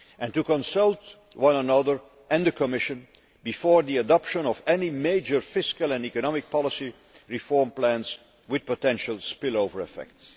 to consult one another and the Commission before the adoption of any major fiscal and economic policy reform plans with potential spillover effects